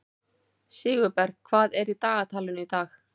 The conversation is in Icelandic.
Sigurberg, hvað er í dagatalinu í dag?